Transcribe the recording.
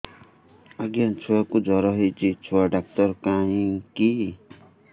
ଆଜ୍ଞା ଛୁଆକୁ ଜର ହେଇଚି ଛୁଆ ଡାକ୍ତର କାହିଁ କି